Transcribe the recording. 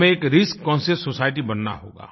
हमें एक risk conscious society बनना होगा